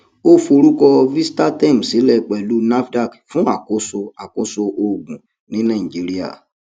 ó forúkọ vitastem sílẹ pẹlú nafdac fún àkóso àkóso oògùn ní nàìjíríà